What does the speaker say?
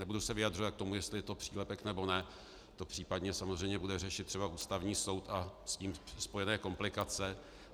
Nebudu se vyjadřovat k tomu, jestli to je přílepek, nebo ne, to případně samozřejmě bude řešit třeba Ústavní soud a s ním spojené komplikace.